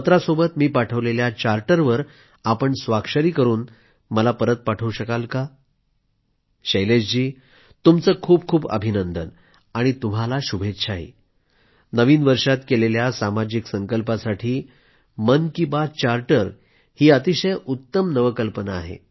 पत्रासोबत मी पाठवलेल्या चार्टरवर आपण स्वाक्षरी करून मला परत पाठवू शकणार शैलेश जी तुमचं खूपखूप अभिनंदन आणि तुम्हाला शुभेच्छाही नवीन वर्षात केलेल्या सामाजिक संकल्पासाठी मन की बात चार्टर ही अतिशय उत्तम नवकल्पना आहे